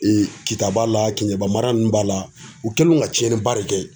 Kita b'a la Kɛɲɛba mara ninnu b'a la u kɛlen don ka tiɲɛniba de kɛ ye.